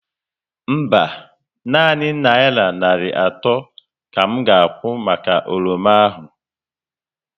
Mba, nanị naira narị atọ ka m ga akwụ maka oroma ahụ